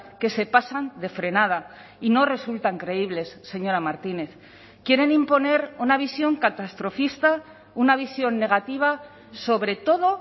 que se pasan de frenada y no resultan creíbles señora martínez quieren imponer una visión catastrofista una visión negativa sobre todo